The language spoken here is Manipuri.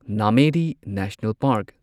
Nameri national park